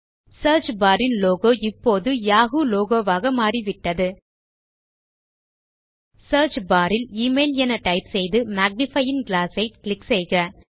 search bar ன் logo இப்போது Yahoo logo வாக மாறிவிட்டது சியர்ச் பார் ல் எமெயில் என டைப் செய்து மேக்னிஃபையிங் கிளாஸ் ஐ கிளிக் செய்க